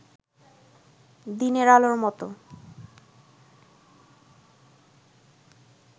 দিনের আলোর মত